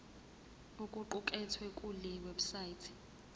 okuqukethwe kule website